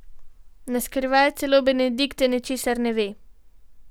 Na skrivaj, celo Benedikta ničesar ne ve.